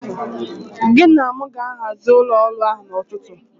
Gị na mụ ga-ahazi ụlọ ọrụ ahụ n'ụtụtụ.